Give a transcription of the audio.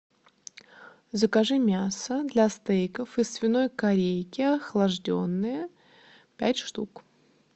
закажи мясо для стейков из свиной корейки охлажденное пять штук